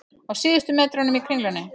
Á síðustu metrunum í Kringlunni